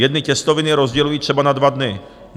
Jedny těstoviny rozděluji třeba na dva dny.